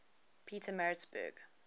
pietermaritzburg